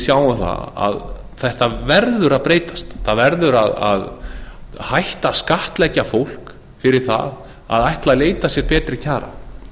flokknum sjáum að þetta verður að breytast það verður að hætta að skattleggja fólk fyrir það að ætla að leita sér betri kjara